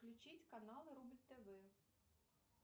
включить каналы рубль тв